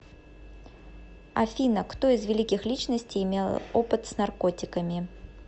афина кто из великих личностей имел опыт с наркотиками